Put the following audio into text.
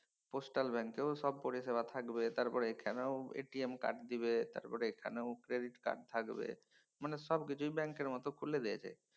postal bank এও সব পরিষেবা থাকবে তারপর এখানেও কার্ড দিবে আবার এখানেও ক্রেডিট কার্ড থাকবে মানে সবকিছুই ব্যাঙ্কের মতন খুলে দিয়েছে।